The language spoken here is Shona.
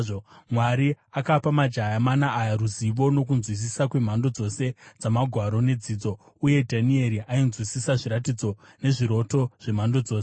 Mwari akapa majaya mana aya ruzivo nokunzwisisa kwemhando dzose dzamagwaro nedzidzo. Uye Dhanieri ainzwisisa zviratidzo nezviroto zvemhando dzose.